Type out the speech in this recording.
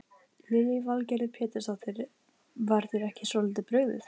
Stöðugleiki sagngeymdarinnar er eitt af sígildum viðfangsefnum þjóðsagnafræðinga.